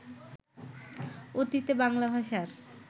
অতীতে বাংলা ভাষার